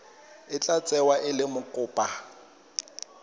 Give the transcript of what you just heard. tla tsewa e le mokopa